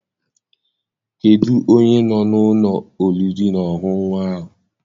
Kedụ onye nọ n'ụlọ oriri na ọṅụṅụ ahụ?